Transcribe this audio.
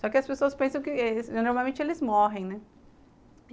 Só que as pessoas pensam que normalmente eles morrem, né?